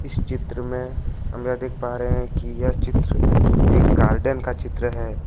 इस चित्र में हम ये देख पा रहे हैं कि यह चित्र एक गार्डन का चित्र है।